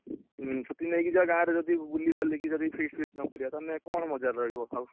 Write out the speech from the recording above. ହୁଁ ଛୁଟି ନେଇକି ଯିବା ଗାଁ ଯଦି ବୁଲି ବାଲିକି ଯଦି feast ଫାଷ୍ଟ ନକରିଆ ତାହେଲେ କଣ ମଜା ରହିବ ଆଉ?